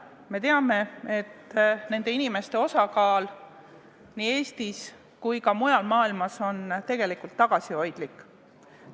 Me teame, et seda suutvate inimeste osakaal nii Eestis kui ka mujal maailmas on tegelikult tagasihoidlik.